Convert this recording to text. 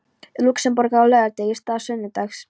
Lúxemborgar á laugardegi í stað sunnudags.